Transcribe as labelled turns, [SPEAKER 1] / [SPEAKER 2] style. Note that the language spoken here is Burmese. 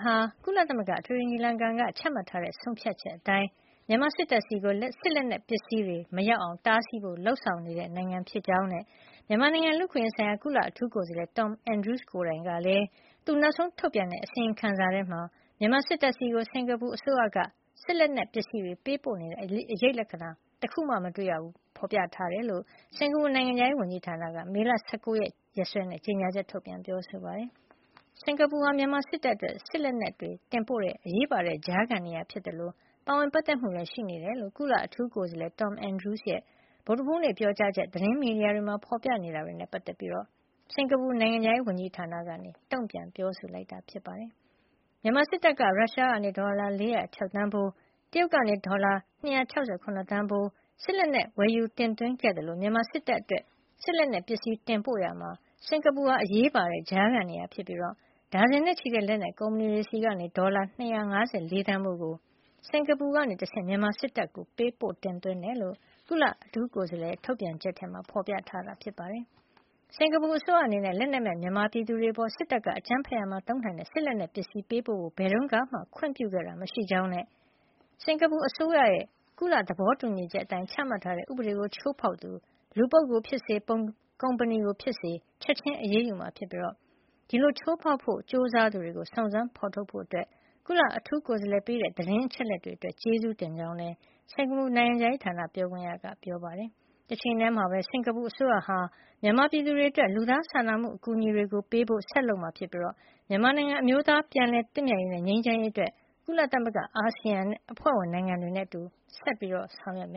[SPEAKER 1] ဟာ ကုလသမဂ္ဂ အထွေထွေညီလာခံက ချမှတ်ထားတဲ့ ဆုံးဖြတ်ချက်အတိုင်း မြန်မာစစ်တပ်ဆီ စစ်လက်နက်ပစ္စည်းတွေ မရောက်အောင် တားဆီးဖို့ လုပ်ဆောင်နေတဲ့ နိုင်ငံဖြစ်ကြောင်းနဲ့ မြန်မာနိုင်ငံလူ့အခွင့်ရေးဆိုင်ရာ ကုလအထူးကိုယ်စားလှယ် Tom Andrews ကိုယ်တိုင်ကလည်း သူနောက်ဆုံးထုတ်ပြန်တဲ့ အစီရင်ခံစာမှာ မြန်မာစစ်တပ်ဆီ စင်္ကာပူအစိုးရက စစ်လက်နက်ပစ္စည်းပေးပို့နေတဲ့ အရိပ်လက္ခာ တခုမှ မတွေ့ရကြောင်း ဖေါ်ပြထားတယ်လို့ စင်္ကာပူနိုင်ငံခြားရေးဝန်ကြီးဌာနက မေလ ၁၉ ရက် ရက်စွဲနဲ့ ကြေညာချက် ထုတ်ပြန်ပြောဆိုပါတယ်။ စင်္ကာပူဟာ မြန်မာစစ်တပ်အတွက် စစ်လက်နက်ပစ္စည်းတွေ တင်ပို့တဲ့ အရေးပါတဲ့ ကြားခံနေရာဖြစ်သလို ပါဝင်ပတ်သက်မှုလည်း ရှိနေတယ်လို့ ကုလအထူးကိုယ်စားလှယ် Tom Andrews ရဲ့ ဗုဒ္ဓဟူးနေ့ ပြောကြားချက် သတင်းမီဒီယာတွေမှာ ဖေါ်ပြနေတာနဲ့ပတ်သက်ပြီး စင်္ကာပူနိုင်ငံခြားရေးဝန်ကြီးဌာနက တုန့်ပြန် ပြောဆိုလိုက်တာပါ။ မြန်မာစစ်တပ်က ရုရှားကနေ ဒေါ်လာ ၄၀၆ သန်းဖိုး၊ တရုတ်ကနေ ဒေါ်လာ ၂၆၇ သန်းဖိုး စစ်လက်နက်ပစ္စည်း ဝယ်ယူတင်သွင်းခဲ့သလို မြန်မာစစ်တပ်အတွက် စစ်လက်နက်ပစ္စည်းတင်ပို့ရာမှာ စင်္ကာပူဟာ အရေးပါတဲ့ကြားခံနေရာဖြစ်ပြီး ဒါဇင်နဲ့ချီတဲ့ လက်နက်ကုမ္ပဏီတွေထံကနေ ဒေါ်လာ ၂၅၄ သန်းဖိုးကို စင်္ကာပူကနေတဆင့် မြန်မာစစ်တပ်ထံကို ပေးပို့တင်သွင်းခဲ့တယ်လို့ ကုလအထူးကိုယ်စားလှယ်ရဲ့ ထုတ်ပြန်ချက်မှာ ဖေါ်ပြထားပါတယ်။ စင်္ကာပူအစိုးရ အနေနဲ့ လက်နက်မဲ့ မြန်မာပြည်သူတွေအပေါ် စစ်တပ်က အကြမ်းဖက်ရာမှာ သုံးနိုင်တဲ့ စစ်လက်နက်ပစ္စည်းတွေ ပေးပို့ဖို့ ဘယ်တုန်းကမှ ခွင့်ပြုခဲ့တာ မရှိကြောင်းနဲ့ စင်္ကာပူအစိုးရရဲ့ ကုလသဘောတူညီချက်အတိုင်း ချမှတ်ထားတဲ့ ဥပဒေကို ချိုးဖေါက်သူ လူပုဂ္ဂိုလ်ဖြစ်စေ၊ ကုမ္ပဏီကိုဖြစ်စေ ချက်ချင်း အရေးယူမှာဖြစ်ပြီး ဒီလိုချိုးဖေါက်ဖို့ ကြိုးစားသူတွေကို စုံစမ်းဖေါ်ထုတ်ရာမှာ ကုလအထူးကိုယ်စားလှယ်ပေးတဲ့ သတင်းအချက်လက်တွေအတွက် ကျေးဇူးတင်ကြောင်းလည်း စင်္ကာပူနိုင်ငံခြားရေးဌာန ပြောခွင့်ရက ပြောပါတယ်။ တချိန်တည်းမှာပဲ စင်္ကာပူအစိုးရက မြန်မာပြည်သူတွေအတွက် လူသားစာနာမှု အကူညီတွေပေးဖို့ ဆက်လုပ်မှာဖြစ်ပြီး မြန်မာနိုင်ငံ အမျိုးသားပြန်လည်သင့်မြတ်ရေးနဲ့ ငြိမ်းချမ်းရေးအတွက် ကုလသမဂ္ဂနဲ့ အာဆီယံအဖွဲ့ဝင် နိုင်ငံတွေနဲ့အတူ ဆက်ပြီး လက်တွဲဆောင်ရွက်မ